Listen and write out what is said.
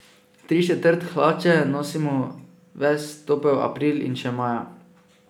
Tričetrt hlače nosimo ves topel april in še maja.